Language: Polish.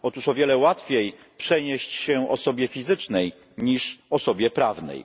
Otóż o wiele łatwiej przenieść się osobie fizycznej niż osobie prawnej.